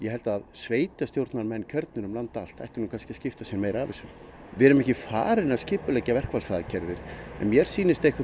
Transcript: held að sveitarstjórnarfólk um land allt ætti að skipta sér meira af þessu við erum ekki farin að skipuleggja verkfallsaðgerðir mér sýnist